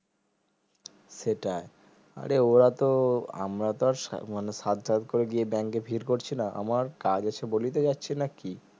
সেটাই আরে ওরা তো আমরা তো আর সা মানে সাধ সাধ করে গিয়ে bank ভিড় করছিনা আমার কাজ আছে বলে যাচ্ছি না কি